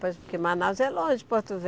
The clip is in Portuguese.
Porque Manaus é longe, Porto.